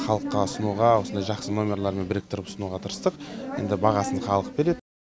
халыққа ұсынуға осындай жақсы нөмерларын біріктіріп ұсынуға тырыстық енді бағасын халық береді